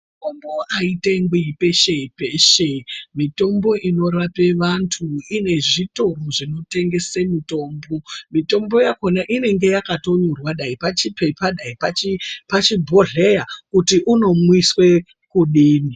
Mitombo haitengwi peshe peshe. Mitombo inorape vantu ine zvitoro zvekutengese mitombo. Mitombo yakona inenge yakatonyorwa, dai pachipepa dai pachibhodhleya kuti unomwiswe kudii.